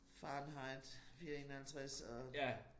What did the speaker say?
Fahrenheit 451 og